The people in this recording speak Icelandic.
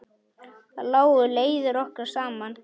Þar lágu leiðir okkar saman.